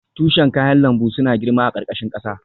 Tushen kayan lambu suna girma a ƙarƙashin ƙasa.